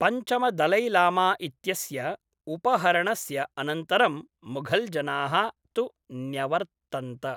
पञ्च म दलैलामा इत्यस्य उपहरणस्य अनन्तरं मुघल्जनाः तु न्यवर्तन्त।